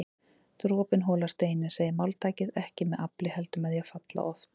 Dropinn holar steininn segir máltækið, ekki með afli heldur með því að falla oft